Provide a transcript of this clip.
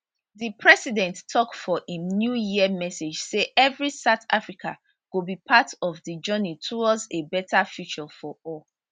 di president tok for im new year message say evri south african go be part of di journey towards a better future for all